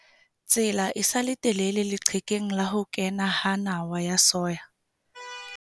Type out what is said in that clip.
Tsela e sa le telele leqhekeng la ho kena ha nawa tsa soya.